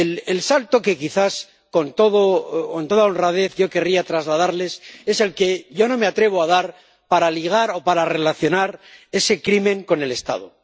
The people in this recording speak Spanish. El salto que quizás con toda honradez yo querría trasladarles es el que yo no me atrevo a dar para ligar o para relacionar ese crimen con el Estado.